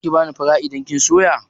Zaki bani fara idan kin soya?